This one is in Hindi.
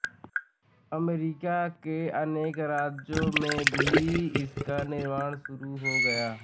अमरीका के अनेक राज्यों में भी इसका निर्माण शुरू हो गया